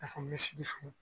Ka